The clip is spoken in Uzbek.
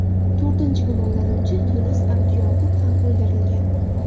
To‘rtinchi gumonlanuvchi Yunus Abuyoqub ham o‘ldirilgan.